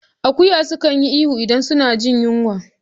Akuya kan yi ihu idan suna jin zafi.